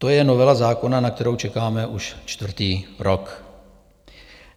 To je novela zákona, na kterou čekáme už čtvrtý rok.